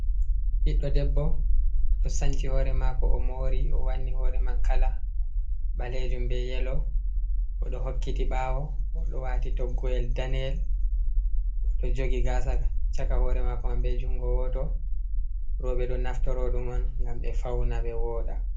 Ɓiɗdo debbo o ɗo sanci hore mako o mori o wanni hore man kala ɓalejum ɓe yelo oɗo hokkiti ɓawo oɗo wati toggo’el daniel o ɗo jogi gasa chaka hore mako mam ɓe jungo woto roɓe ɗo naftoroɗum on gam ɓe fauna ɓe woɗa.